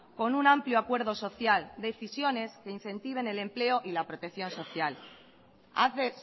con un amplio acuerdo social decisiones que incentiven el empleo y la protección social hace